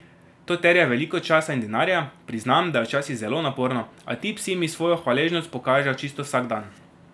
To terja veliko časa in denarja, priznam, da je včasih zelo naporno, a ti psi mi svojo hvaležnost pokažejo čisto vsak dan.